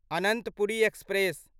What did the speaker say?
Ananthapuri express